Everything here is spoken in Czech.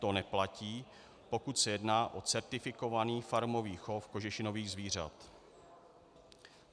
To neplatí, pokud se jedná o certifikovaný farmový chov kožešinových zvířat."